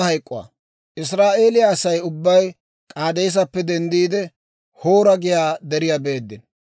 Israa'eeliyaa Asay ubbay K'aadeesappe denddiide, Hoora giyaa deriyaa beeddino.